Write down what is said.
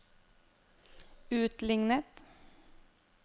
utlignet